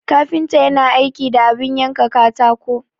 Kafinta yana aiki da abin yanka katako.